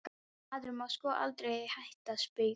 Maður má sko aldrei hætta að spauga.